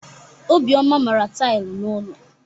Obioma mara tailụ n'ụlọ.